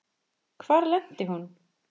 Hvar lenti hún?